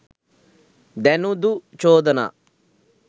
දැනුදු චෝදනා